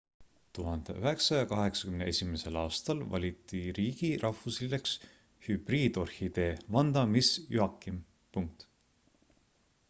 1981 aastal valiti riigi rahvuslilleks hübriidorhidee vanda miss joaquim